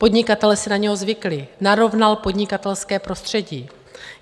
Podnikatelé si na něho zvykli, narovnal podnikatelské prostředí.